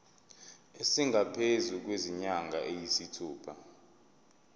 esingaphezu kwezinyanga eziyisithupha